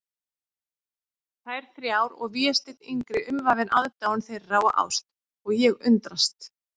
Þær þrjár og Vésteinn yngri umvafinn aðdáun þeirra og ást, og ég undrast.